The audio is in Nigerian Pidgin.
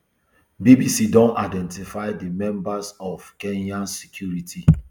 bbc don identify di members of kenya security